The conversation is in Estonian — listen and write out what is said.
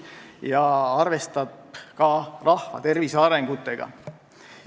Eelnõu arvestab ka rahvatervise argumentidega.